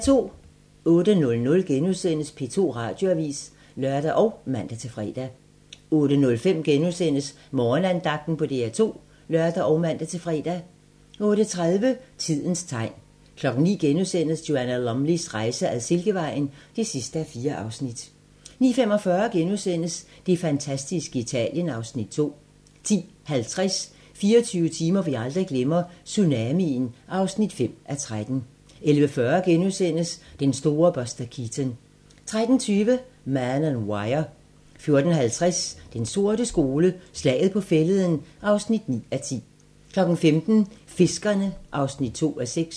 08:00: P2 Radioavis *(lør og man-fre) 08:05: Morgenandagten på DR2 *(lør og man-fre) 08:30: Tidens tegn 09:00: Joanna Lumleys rejse ad Silkevejen (4:4)* 09:45: Det fantastiske Italien (Afs. 2)* 10:50: 24 timer, vi aldrig glemmer - Tsunamien (5:13) 11:40: Den store Buster Keaton * 13:20: Man On Wire 14:50: Den sorte skole: Slaget på Fælleden (9:10) 15:00: Fiskerne (2:6)